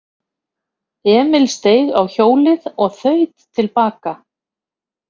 Emil steig á hjólið og þaut til baka.